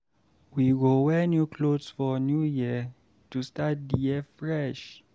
We go wear new clothes for New Year to start the year fresh.